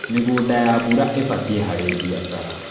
mĩgũnda ya mbura ibatie kahri biacara